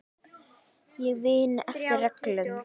Ég vinn eftir reglum.